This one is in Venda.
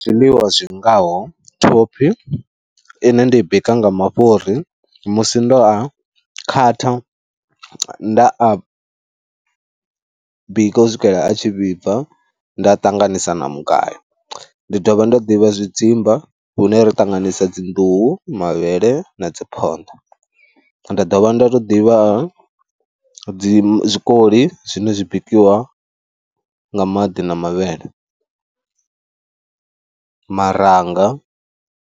Zwiḽiwa zwi ngaho thophi ine nda i bika nga mafhuri musi ndo a khatha nda a bika u swikela a tshi vhibva nda ṱanganisa na mugayo. Ndi dovha nda ḓivha zwidzimba hune ra ṱanganisa dzi nḓuhu, mavhele na dzi phonḓa. Nda dovha nda tou ḓivha dzi zwikoli zwine zwi bikiwa nga maḓi na mavhele, maranga.